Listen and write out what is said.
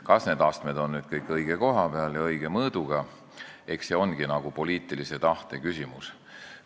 Kas need astmed on nüüd kõik õige koha peal ja õige mõõduga, eks see ole poliitilise tahte küsimus.